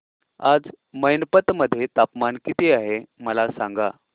आज मैनपत मध्ये तापमान किती आहे मला सांगा